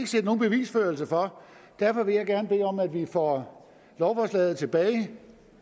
set nogen bevisførelse for derfor vil jeg gerne bede om at vi får lovforslaget tilbage